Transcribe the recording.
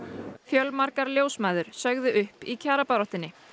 fjölmargar ljósmæður sögðu upp í kjarabaráttunni